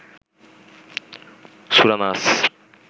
সূরা নাস